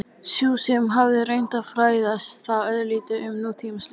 Sú sem hafði reynt að fræða þá örlítið um nútímalist?